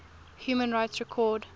human rights record